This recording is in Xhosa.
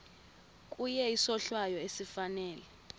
kuye isohlwayo esifanele